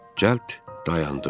cəld dayandım.